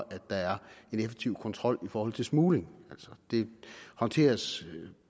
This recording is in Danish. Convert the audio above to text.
at der er en effektiv kontrol i forhold til smugling det håndteres